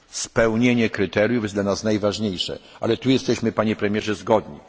Spełnienie kryteriów jest dla nas najważniejsze, co do tego jesteśmy Panie Premierze zgodni.